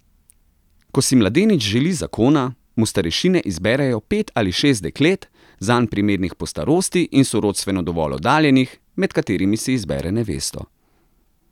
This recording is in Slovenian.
Ko si mladenič zaželi zakona, mu starešine izberejo pet ali šest deklet, zanj primernih po starosti in sorodstveno dovolj oddaljenih, med katerimi si izbere nevesto.